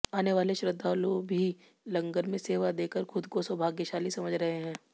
आने वाले श्रद्धालु भी लंगर में सेवा देकर खुद को सौभाग्यशाली समझ रहे हैं